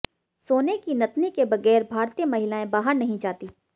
सोने की नथनी के बगैर भारतीय महिलाएं बाहर नहीं जाती